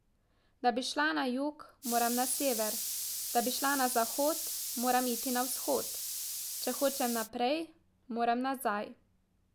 Da bi šla na jug, moram na sever, da bi šla na zahod, moram iti na vzhod, če hočem naprej, moram nazaj.